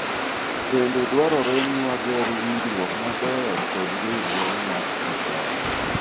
bende dwarore ni wager winjruok maber kod riwruoge mag sirikal